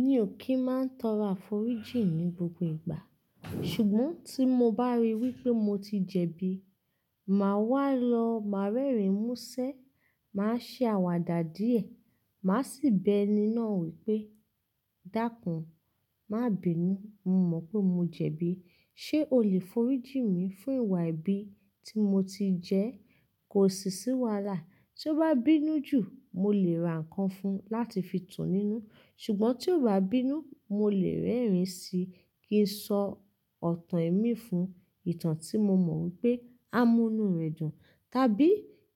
Mí ò ki máa ń tọrọ àforíjì ní gbogbo ìgbà. Ṣùgbọ́n tí mo bá rí i wí pé mo ti jẹ̀bi, màá wá lọ, màá rẹ́rìn músẹ́, màá ṣe àwàdà díẹ̀, màá sì bẹ́ ẹni náà wí pé "Dákun, má bínú, mo mọ̀ pé mo jẹ̀bi. Ṣé o lè forí jìn mí fún ìwà ẹbi tí mo ti jẹ? Kò sì sí wàalà. Tí ó bá bínú jù, mo lè ra nǹkan fun láti fi tú nínú. Ṣùgbọ́n tí óo bá bínú, mo lè rẹ́rìn sí í kí n sọ ọ̀tàn ẹ́ mí fún, ìtàn tí mo mọ̀ wí pé á mú inú rẹ̀ dùn. Tàbí